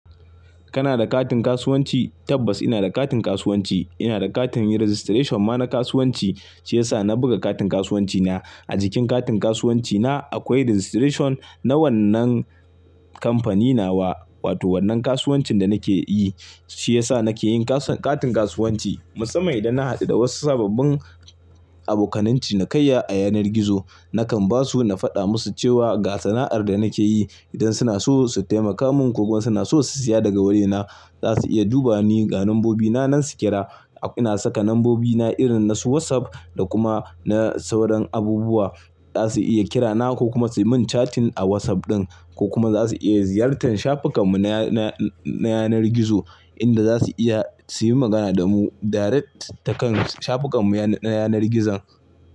Kana da katin kasuwanci? Tabbas ina da katin kasuwanci. Ina da katin registration ma na kasuwanci, shi yasa na buga katin kasuwanci na. A jikin katin kasuwanci na akwai registration na wannan kamfanina wa, wato wannan kasuwancin da nake yi. Shi yasa nake yin katin kasuwanci. Musamman idan na haɗu da wasu sababbin abokananci na kaiya a yanar gizo, nakan ba su na faɗa musu cewa ga sana'ar da nake yi. Idan suna so su taimaka mun ko kuma suna so su siya daga wurina, za su iya duba ni ga lambobina nan su kira. Ina saka lambobina irin na su WhatsApp da kuma na sauran abubuwa. Za su iya kira na ko kuma su yi min catin a WhatsApp ɗin ko kuma za su iya ziyartar shafukan mu na, na yanar gizo inda za su iya su yi magana da mu direct ta kan shafukan mu na yanar gizon.